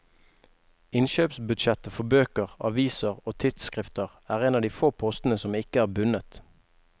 Innkjøpsbudsjettet for bøker, aviser og tidsskrifter er en av de få postene som ikke er bundet.